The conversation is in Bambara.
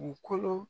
Dugukolo